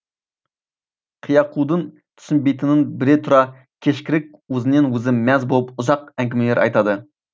киякудың түсінбейтінін біле тұра кешкілік өзінен өзі мәз болып ұзақ әңгімелер айтады